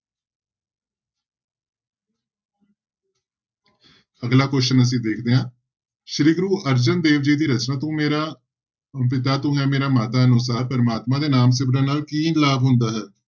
ਅਗਲਾ question ਅਸੀਂ ਵੇਖਦੇ ਹਾਂ ਸ੍ਰੀ ਗੁਰੂ ਅਰਜਨ ਦੇਵ ਜੀ ਦੀ ਰਚਨਾ ਤੂੰ ਮੇਰਾ ਪਿਤਾ ਤੂੰ ਹੈ ਮੇਰਾ ਮਾਤਾ ਅਨੁਸਾਰ ਪ੍ਰਮਾਤਮਾ ਦੇ ਨਾਮ ਸਿਮਰਨ ਨਾਲ ਕੀ ਲਾਭ ਹੁੰਦਾ ਹੈ।